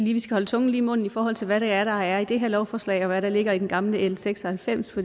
holde tungen lige i munden i forhold til hvad det er der er i det her lovforslag og hvad der ligger i det gamle l seks og halvfems